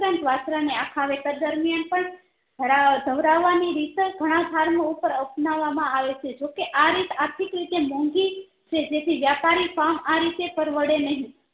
તદુપરાંત વાસ્ત્રુ ને આખા વેતર દરમિયાન પણ ધરાવ ધવરાવવા ની રીત ઘણા ધાર નું ઉપર અપનાવવા માં આવે છે જોકે આરીત આર્થિક રીતે મોંઘી છે જેથી વ્યાપારી આરીતે પરવડે નહિ